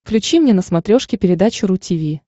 включи мне на смотрешке передачу ру ти ви